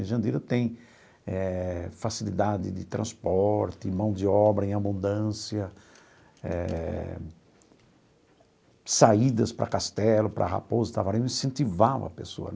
Em Jandira tem eh facilidade de transporte, mão de obra em abundância, eh saídas para Castelo, para Raposo para, eu incentivava a pessoa.